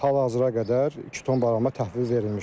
Hal-hazıradək iki ton barama təhvil verilmişdir.